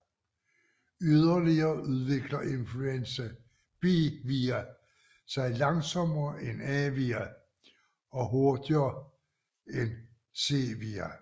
Yderligere udvikler influenza B vira sig langsommere end A vira og hurtigere en C vira